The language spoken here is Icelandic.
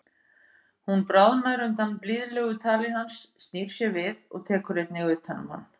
Hún bráðnar undan blíðlegu tali hans, snýr sér við og tekur einnig utan um hann.